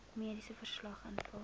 mediese verslag invul